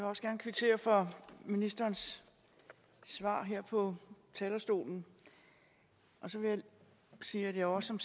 også gerne kvittere for ministerens svar her fra talerstolen og så vil jeg sige at jeg også som